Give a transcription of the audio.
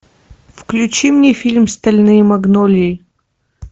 включи мне фильм стальные магнолии